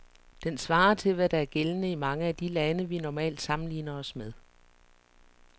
Den svarer til, hvad der er gældende i mange af de lande, vi normalt sammenligner os med.